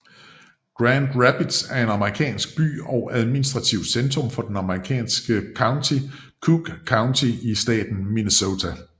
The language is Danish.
Grand Rapids er en amerikansk by og administrativt centrum i det amerikanske county Cook County i staten Minnesota